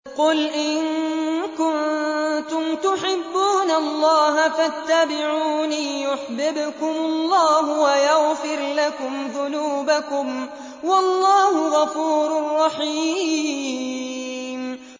قُلْ إِن كُنتُمْ تُحِبُّونَ اللَّهَ فَاتَّبِعُونِي يُحْبِبْكُمُ اللَّهُ وَيَغْفِرْ لَكُمْ ذُنُوبَكُمْ ۗ وَاللَّهُ غَفُورٌ رَّحِيمٌ